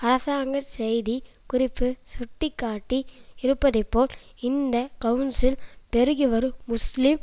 அரசாங்க செய்தி குறிப்பு சுட்டி காட்டி இருப்பதைப்போல் இந்த கவுன்சில் பெருகிவரும் முஸ்லீம்